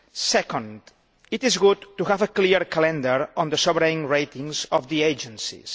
Secondly, it is good to have a clear calendar on the sovereign ratings of the agencies.